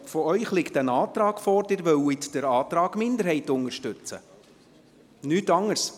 Es liegt aber ein Antrag vor, der besagt, dass Sie den Antrag der Minderheit unterstützen wollen, nichts anderes.